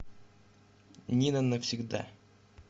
нина навсегда